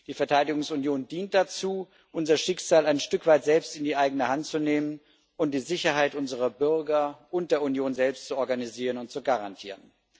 Die Verteidigungsunion dient dazu, unser Schicksal ein Stück weit selbst in die Hand zu nehmen und die Sicherheit unserer Bürger und der Union selbst zu organisieren und zu garantieren.